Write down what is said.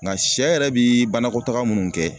Nga sɛ yɛrɛ bi banakɔtaga munnu kɛ